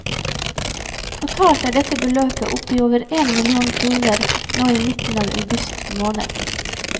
Totalt er dette beløpet oppe i over én million kroner nå i midten av august måned.